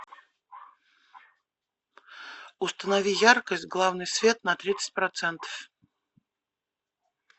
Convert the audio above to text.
установи яркость главный свет на тридцать процентов